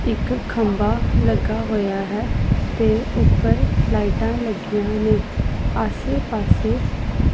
ਇੱਕ ਖੰਭਾ ਲੱਗਾ ਹੋਇਆ ਹੈ ਤੇ ਉੱਪਰ ਲਾਈਟਾਂ ਲੱਗੀਆਂ ਨੇ ਆਸੇ ਪਾਸੇ --